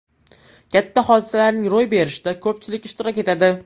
Katta hodisalarning ro‘y berishida ko‘pchilik ishtirok etadi.